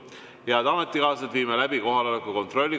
Head ametikaaslased, viime läbi kohaloleku kontrolli.